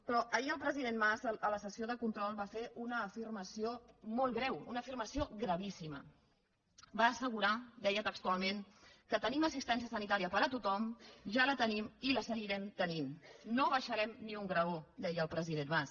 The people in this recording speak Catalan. però ahir el president mas a la sessió de control va fer una afirmació molt greu una afirmació gravíssima va assegurar deia textualment que tenim assistència sanitària per a tothom ja la tenim i la seguirem tenint no baixarem ni un graó deia el president mas